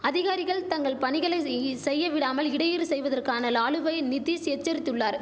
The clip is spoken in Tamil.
அதிகாரிகள் தங்கள் பணிகளை செய்யி செய்யவிடாமல் இடையூறு செய்வதற்கான லாலுவை நிதிஷ் எச்சரித்துள்ளார்